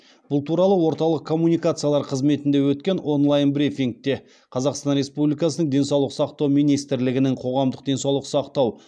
бұл туралы орталық коммуникациялар қызметінде өткен онлайн брифингте қазақстан республикасының денсаулық сақтау министрлігінің қоғамдық денсаулық сақтау